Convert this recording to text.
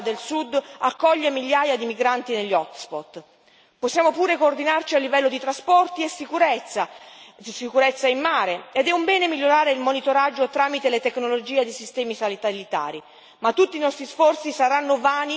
La mia città, Taranto, insieme ad altre città del Sud accoglie migliaia di migranti negli hot spot. Possiamo pure coordinarci a livello di trasporti e sicurezza, di sicurezza in mare ed è un bene migliorare il monitoraggio tramite le tecnologie dei sistemi satellitari.